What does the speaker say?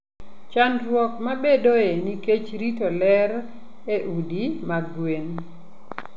Chandruok mabedoe nikech rito ler e udi mag gwen.